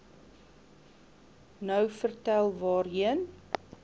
nou vertel waarheen